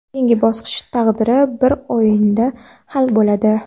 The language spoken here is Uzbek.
Keyingi bosqich taqdiri bir o‘yinda hal bo‘ladi.